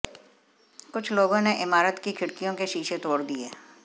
कुछ लोगों ने इमारत की खिड़कियों के शीशे तोड़ दिए